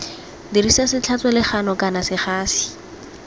dirisa setlhatswa legano kana segasi